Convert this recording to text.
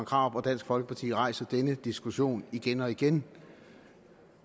krarup og dansk folkeparti rejser denne diskussion igen og igen